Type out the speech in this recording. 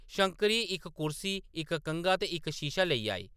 शंकरी इक कुर्सी, इक कंघा ते इक शीशा लेई आई ।